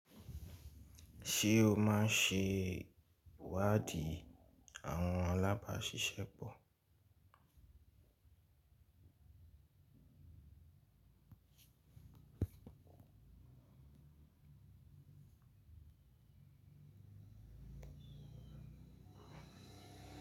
Ṣé o máa ń se wáàdí àwọn alábàáṣiṣẹ́pọ̀?